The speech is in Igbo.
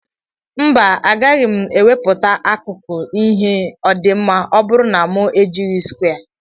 Mba agaghi mu eweputa akuku ihe odima ọburu na mu ejighi skwe.